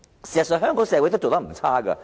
事實上，香港社會也做得不錯。